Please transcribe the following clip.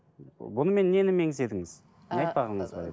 бұнымен нені меңзедіңіз ыыы не айтпағыңыз бар еді